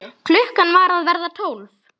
Klukkan var að verða tólf.